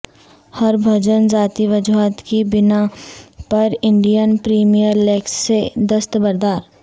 ہربھجن ذاتی وجوہات کی بناء پرانڈین پریمیر لیگ سے دستبردار